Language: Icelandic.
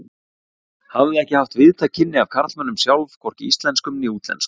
Hafði ekki haft víðtæk kynni af karlmönnum sjálf, hvorki íslenskum né útlenskum.